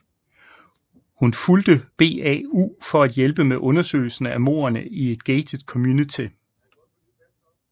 Hun fulgte BAU for at hjælpe med undersøgelsen af mordene i et gated community